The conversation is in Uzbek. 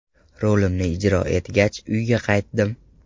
Rolimni ijro etgach, uyga qaytdim.